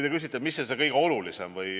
Te küsite, mis on see kõige olulisem.